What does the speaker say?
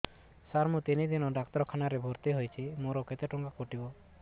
ସାର ମୁ ତିନି ଦିନ ଡାକ୍ତରଖାନା ରେ ଭର୍ତି ହେଇଛି ମୋର କେତେ ଟଙ୍କା କଟିବ